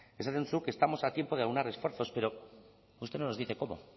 esaten duzu que estamos a tiempo de aunar esfuerzos pero usted no nos dice cómo